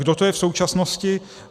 Kdo to je v současnosti?